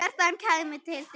Kjartan kæmi til dyra.